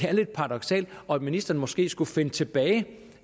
er lidt paradoksalt og at ministeren måske skulle finde tilbage